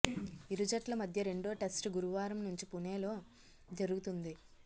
ఇరు జట్ల మధ్య రెండో టెస్టు గురువారం నుంచి పుణేలో జరుగుతుంది